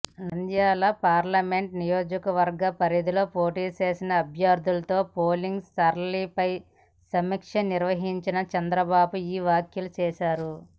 Nandyal parliament నియోజకవర్గ పరిధిలో పోటీచేసిన అభ్యర్ధులతో పోలింగ్ సరళిపై సమీక్ష నిర్వహించిన చంద్రబాబు ఈ వ్యాఖ్యలు చేశారు